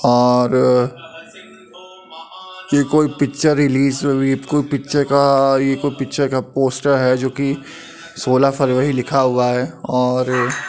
और ये कोई पिक्चर रिलीज हुई है यह कोई पिक्चर का यह कोई पिक्चर का पोस्टर है जो की सोलह फरवरी लिखा हुआ है और --